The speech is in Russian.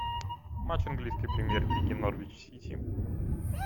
матч английской премьер лиги норвич сити